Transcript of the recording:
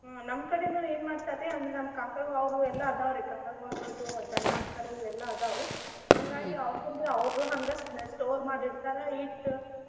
ಹ್ಮ್ ನಮ್ಮ್ ಕಡೆನು ಏನ್ ಮಾಡ್ತಾರಿ. ಅಂದ್ರ ನಮ್ಮ ಕಾಕಾ ಅವ್ರು ಎಲ್ಲಾ ಅದಾವ್ರಿ. ಕಾಕಾಗೊಳದ್ ಅದು ದನಾ ಕರು ಇವೆಲ್ಲಾ ಅದಾವು. ಅವಕುರ್ದು ಅವ್ರು ಹಂಗ ಸ~ store ಮಾಡಿ ಇಡ್ತಾರ ಇಟ್ಟ್.